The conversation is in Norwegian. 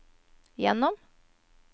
gjennom